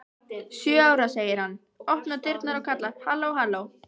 Sjö ára, segir hann, opnar dyrnar og kallar: halló halló